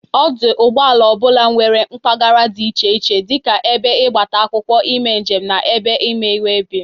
Ọdụ ụgbọala ọ bụla nwere mpagara dị iche iche dị ka ebe ịgbata akwụkwọ ime njem na ebe ime webil.